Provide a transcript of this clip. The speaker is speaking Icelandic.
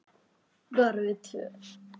Bara við tvö?